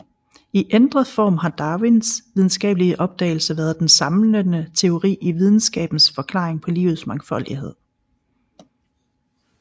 I ændret form har Darwins videnskabelige opdagelse været den samlende teori i videnskabens forklaring på livets mangfoldighed